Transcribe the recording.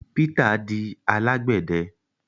Peter di alagbẹdẹ